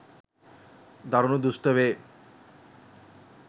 දරුණු දුෂ්ට වේ.